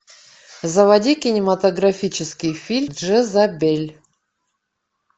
заводи кинематографический фильм джезабель